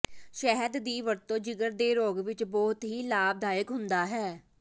ਸ਼ਹਿਦ ਦੀ ਵਰਤੋ ਜਿਗਰ ਦੇ ਰੋਗ ਵਿਚ ਬਹੁਤ ਹੀ ਲਾਭਦਾਇਕ ਹੁੰਦਾ ਹੈ